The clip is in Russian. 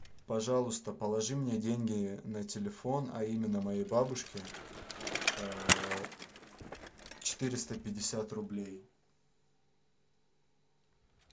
пожалуйста положи мне деньги на телефон а именно моей бабушке четыреста пятьдесят рублей